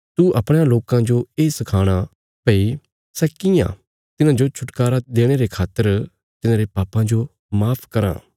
तू अपणयां लोकां जो ये सखाणा भई सै कियां तिन्हांजो छुटकारा देणे रे खातर तिन्हांरे पापां जो माफ कराँ